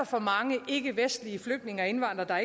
for mange ikkevestlige flygtninge og indvandrere